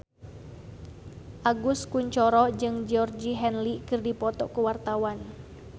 Agus Kuncoro jeung Georgie Henley keur dipoto ku wartawan